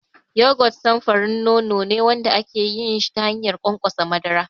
Yogurt samfurin nono ne wanda ake yin shi ta hanyar ƙwanƙwasa madara.